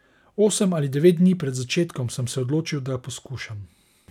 Osem ali devet dni pred začetkom sem se odločil, da poskušam.